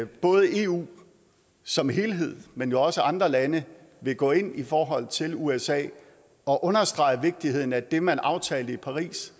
både eu som helhed men jo også andre lande vil gå ind i forhold til usa og understrege vigtigheden af det man aftalte i paris